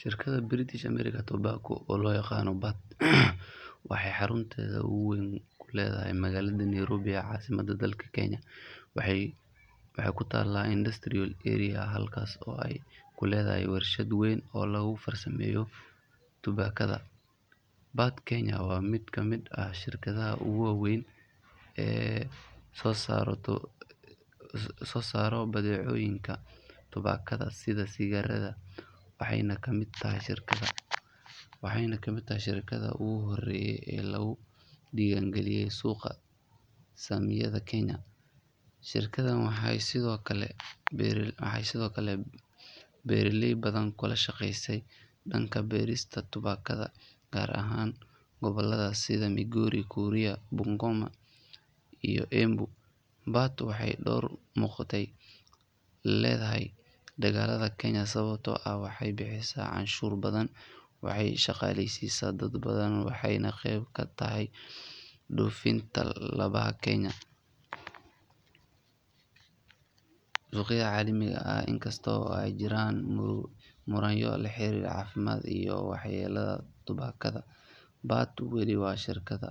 Shirkada british america tobacco oo loyaqano bat waxa xarunteda ogu weyn kuledahay magalada nairobi, casimada dalka kenya waxay kutala industirial area halkas oo aay kuledahay warshad weyn logu farsameyo tubakada, bat kenya wa mid ka mid shirkadaha ogu waweyn sosaro badecoyinka tubakadha, sidha sigarada waxay nah kamid tahay shirkada ogu horereye lagu diwan galiye suqa samiyada kenya, shirkadan waxay sidiokale beraley badhan kulashaqeyse danka berista tubakada gar ahan sidha gobalada migori, kuria, bongoma iyoh embu bat waxay dor muqda laledahahy dagalada kenya sababto ah waxay bixisa canshur badhan waxay shaqaleysisa dad badhan waxay nah qeyb katahay dufinta labaha kenya, suqyada calamiga haa inkasto aay jiran muranyo laxarira cafimad iyoh waxyelada tubakada bat weli wa shirkada